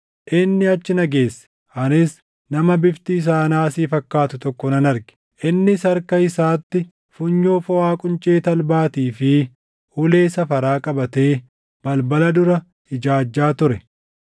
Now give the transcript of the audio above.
Inni achi na geesse; anis nama bifti isaa naasii fakkaatu tokko nan arge; innis harka isaatti funyoo foʼaa quncee talbaatii fi ulee safaraa qabatee balbala dura ijaajjaa ture.